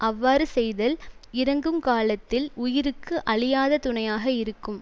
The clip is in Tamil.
அவ்வாறு செய்தல் இறக்குங் காலத்தில் உயிருக்கு அழியாத துணையாக இருக்கும்